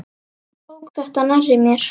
Ég tók þetta nærri mér.